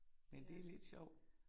Men det lidt sjov